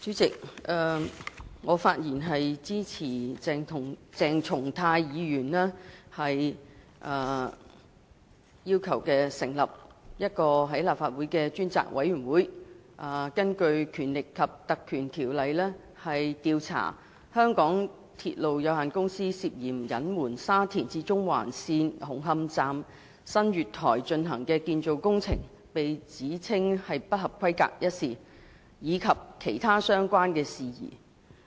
主席，我發言支持鄭松泰議員要求立法會委任一個專責委員會，根據《立法會條例》調查香港鐵路有限公司涉嫌隱瞞沙田至中環線紅磡站新月台進行的建造工程被指稱不合規格一事，以及其他相關事宜。